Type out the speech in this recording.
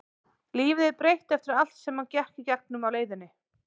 Lífið er breytt eftir allt sem hann gekk í gegnum á leiðinni.